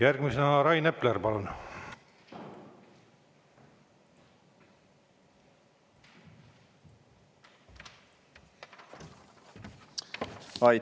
Järgmisena Rain Epler, palun!